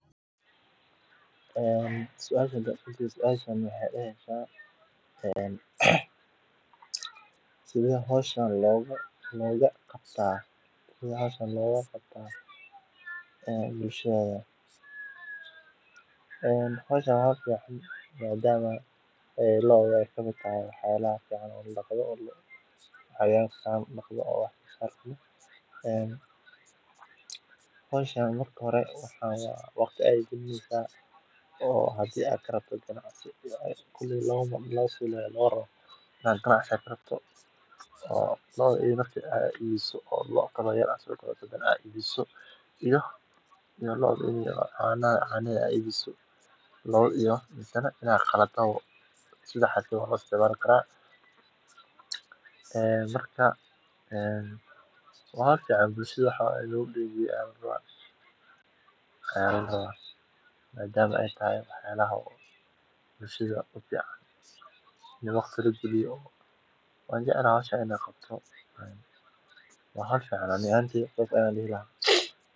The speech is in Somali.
Daqashada lo’da waa hawl muhiim ah oo ka mid ah dhaqan-xoolaadka, waxaana laga helaa caanaha oo ah mid ka mid ah ilaha ugu muhiimsan ee nafaqooyinka aadanaha. Daqashada waxaa lagu sameeyaa hab gacanta ah ama iyadoo la adeegsado mashiin gaar ah oo loogu tala galay in si nadiif ah lo’da looga daqo. Lo’da la dhaqayo waa in la daryeelaa si joogto ah, loona hubiyaa nadaafadda naaska iyo deegaanka daqashada